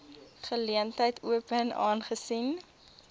geleentheid open aangesien